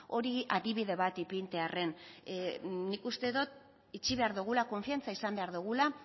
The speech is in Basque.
hori adibide bat ipintzearren nik uste dut itxi behar dugula konfiantza izan behar dugula